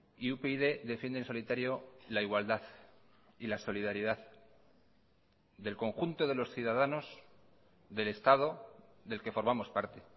y upyd defiende en solitario la igualdad y la solidaridad del conjunto de los ciudadanos del estado del que formamos parte